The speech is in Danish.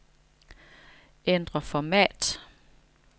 Ændr format.